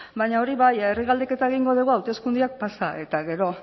baina hori bai herri galdeketa egingo dugu hauteskundeak pasa eta gero